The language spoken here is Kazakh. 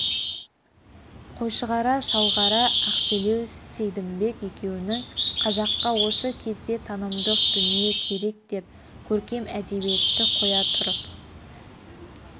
қойшығара салғара ақселеу сейдімбек екеуінің қазаққа осы кезде танымдық дүние керек деп көркем әдебиетті қоя тұрып